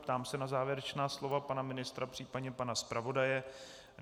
Ptám se na závěrečná slova pana ministra, případně pana zpravodaje.